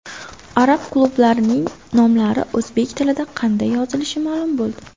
Arab klublarining nomlari o‘zbek tilida qanday yozilishi ma’lum bo‘ldi.